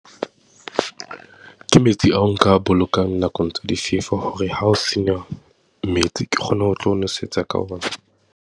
Ke metsi ao nka a bolokang nakong tsa difefo hore ha ho sena metsi, ke kgone ho tlo nwesetsa ka ona.